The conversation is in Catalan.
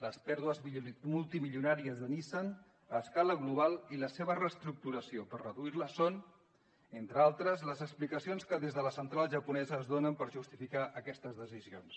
les pèrdues multimilionàries de nissan a escala global i la seva reestructuració per reduir la són entre altres les explicacions que des de la central japonesa es donen per justificar aquestes decisions